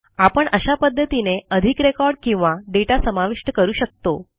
आपण अशा पध्दतीने अधिक रेकॉर्ड किंवा दाता समाविष्ट करू शकतो